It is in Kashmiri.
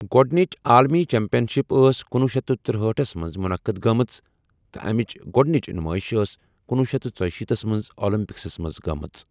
گۄڈٕنِچ عالمی چیمپین شپ ٲس کُنۄہ شیتھ ترٗہأٹھ منٛز منعقد گٔمٕژ تہٕ امیٕچ گۄڈٕنِچ نمائش ٲس کُنۄہ شیتھ ژُشیٖتھ منٛز اولمپکس منٛز گمٕژ۔